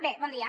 bé bon dia